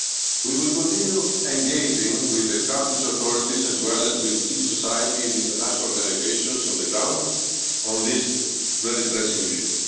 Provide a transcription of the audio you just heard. protected. We will continue engaging with the country's authorities as well as with civil society and international organisations on the ground on this very pressing